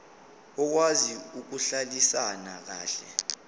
okwazi ukuhlalisana kahle